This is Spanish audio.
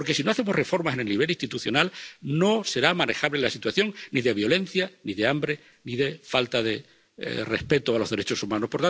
Porque, si no hacemos reformas en el nivel institucional, no será manejable la situación ni de violencia, ni de hambre, ni de falta de respeto a los derechos humanos.